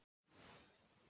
Er ég